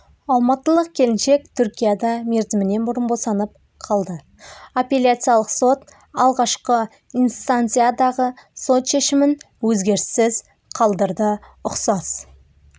алматылық келіншек түркияда мерзімінен бұрын босанып қалды апелляциялық сот алғашқы инстанциядағы сот шешімін өзгеріссіз қалдырды ұқсас